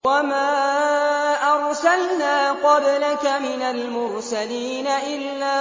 وَمَا أَرْسَلْنَا قَبْلَكَ مِنَ الْمُرْسَلِينَ إِلَّا